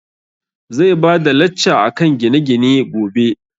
Zai bada lacca akan gine gine gobe